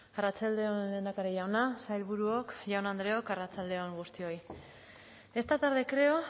arratsalde on lehendakari jauna sailburuok jaun andreok arratsalde on guztioi esta tarde creo